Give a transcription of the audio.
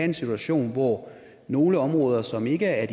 en situation hvor nogle områder som ikke er